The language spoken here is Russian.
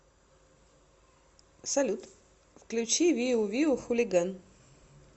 салют включи виу виу хулиган